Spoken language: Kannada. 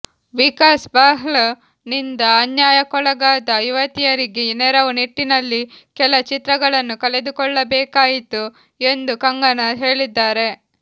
ವಿಕಾಸ್ ಬಹ್ಲ್ ನಿಂದ ಅನ್ಯಾಯಕ್ಕೊಳಗಾದ ಯುವತಿಯರಿಗೆ ನೆರವು ನಿಟ್ಟಿನಲ್ಲಿ ಕೆಲ ಚಿತ್ರಗಳನ್ನು ಕಳೆದುಕೊಳ್ಳಬೇಕಾಯಿತು ಎಂದು ಕಂಗನಾ ಹೇಳಿದ್ದಾರೆ